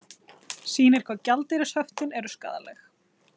Sýnir hvað gjaldeyrishöftin eru skaðleg